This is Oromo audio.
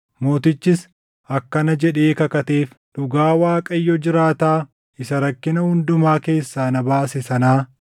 Mootichis akkana jedhee kakateef; “Dhugaa Waaqayyo jiraataa isa rakkina hundumaa keessaa na baase sanaa,